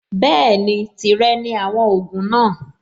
Bẹ́ẹ̀ni, tìrẹ ni àwọn ògùn náà.